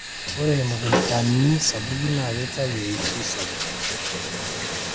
ore imukuntani sapuki naa keitayu eishoi sapuk